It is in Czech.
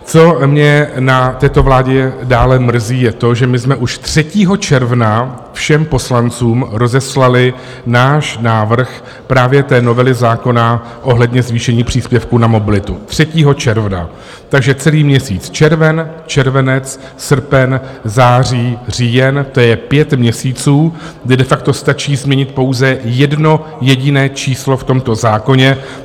Co mě na této vládě dále mrzí, je to, že my jsme už 3. června všem poslancům rozeslali náš návrh právě té novely zákona ohledně zvýšení příspěvku na mobilitu, 3. června, takže celý měsíc červen, červenec, srpen, září, říjen - to je pět měsíců, kdy de facto stačí změnit pouze jedno jediné číslo v tomto zákoně.